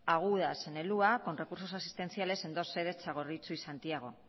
agudas en el hua con recursos asistenciales en dos sedes txagorritxu y santiago